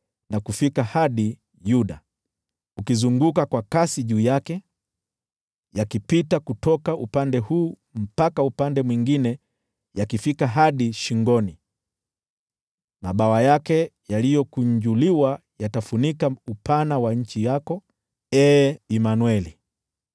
na kufika hadi Yuda, yakizunguka kwa kasi juu yake, yakipita katikati na yakifika hadi shingoni. Mabawa yake yaliyokunjuliwa yatafunika upana wa nchi yako, Ee Imanueli!”